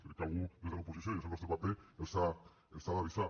crec que algú des de l’oposició i és el nostre paper els ha d’avisar